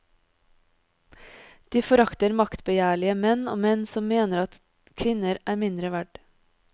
De forakter maktbegjærlige menn og menn som mener at kvinner er mindre verd.